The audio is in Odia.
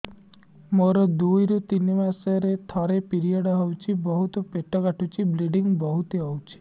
ମୋର ଦୁଇରୁ ତିନି ମାସରେ ଥରେ ପିରିଅଡ଼ ହଉଛି ବହୁତ ପେଟ କାଟୁଛି ବ୍ଲିଡ଼ିଙ୍ଗ ବହୁତ ହଉଛି